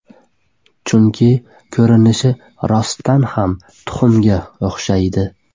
Chunki, ko‘rinishi rostdan ham tuxumga o‘xshaydi.